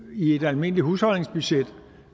i et almindeligt husholdningsbudget